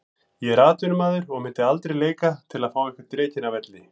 Ég er atvinnumaður og myndi aldrei leika til að fá einhvern rekinn af velli.